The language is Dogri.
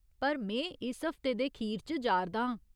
पर में इस हफ्ते दे खीर च जा'रदा आं।